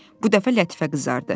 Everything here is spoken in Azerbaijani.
Bu dəfə Lətifə qızardı.